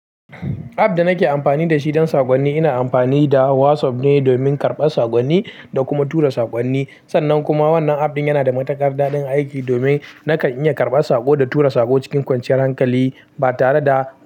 App da nake amfani da shi don saƙonni ina amfani da WhatsApp ne domin karɓar saƙonni da kuma tura saƙonni. Sannan kuma wannan app ɗin yana da matuƙar daɗin aiki domin nakan iya karɓar saƙo da tura saƙo cikin kwanciyar hankali ba tare da.